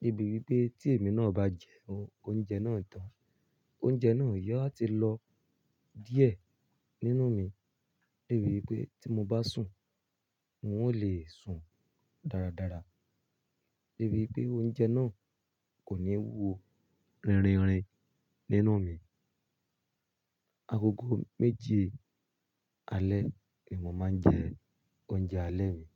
Nítorí pé tí èmi náà bá jẹ oúnjẹ náà tán, oúnjẹ náà yóò ti lọ díẹ̀ nínú mi. Débí wi pé tí mo bá sùn, n ó lè sùn dáradára. Nítorí pé oúnjẹ náà kò ní wúwo rìnrìnrìn nínú mi. Agogo méje alẹ́ ni mo máa ń jẹ oúnjẹ alẹ́ mi.